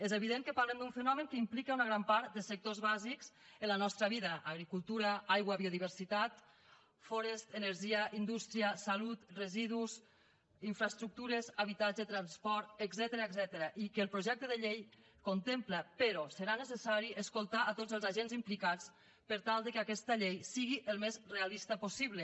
és evident que parlem d’un fenomen que implica una gran part de sectors bàsics en la nostra vida agricultura aigua biodiversitat forests energia indústria salut residus infraestructures habitatge transport etcètera i que el projecte de llei contempla però serà necessari escoltar tots els agents implicats per tal que aquesta llei sigui el més realista possible